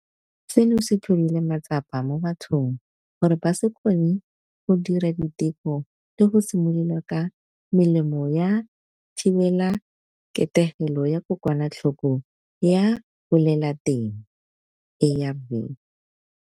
Seno se tlhodile matsapa mo bathong gore ba se kgone go dira diteko le go simolola ka melemo ya thibelaketegelo ya kokwanatlhoko ya lebolelateng, ARV.